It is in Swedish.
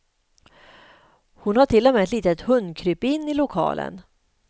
Hon har till och med ett litet hundkrypin i lokalen.